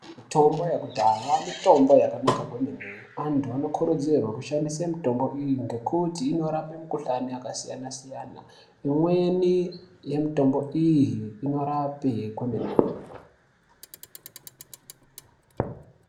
Mitombo yekudhaya mitombo yakanaka kwemene antu anokurudzirwe kushandise mitombo iyi ngekuti inorape mukhlani yakasiyana siyana imweni yemitombo iyi inorape kwemene.